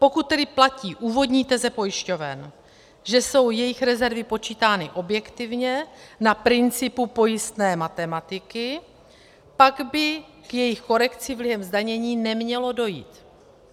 Pokud tedy platí úvodní teze pojišťoven, že jsou jejich rezervy počítány objektivně, na principu pojistné matematiky, pak by k jejich korekci vlivem zdanění nemělo dojít.